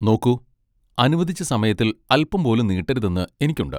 നോക്കൂ, അനുവദിച്ച സമയത്തിൽ അൽപ്പം പോലും നീട്ടരുതെന്ന് എനിക്കുണ്ട്.